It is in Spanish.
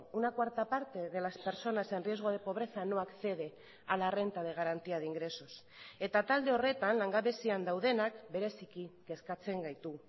una cuarta parte de las personas en riesgo de pobreza no accede a la renta de garantía de ingresos eta talde horretan langabezian daudenak bereziki kezkatzen gaitu